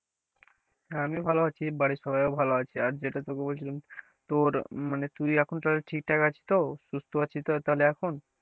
হ্যাঁ আমি ভালো আছি বাড়ির সবাইও ভালো আছে আর যেটা তোকে বলছিলাম, তোর মানে তুই এখন তাহলে ঠিকঠাক আছিস তো সুস্থ আছিস তো তাহলে এখন?